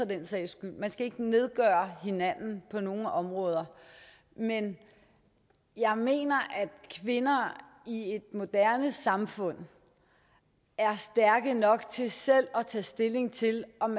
den sags skyld man skal ikke nedgøre hinanden på nogen områder men jeg mener at kvinder i et moderne samfund er stærke nok til selv at tage stilling til om